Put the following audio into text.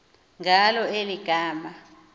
ngalo eli gama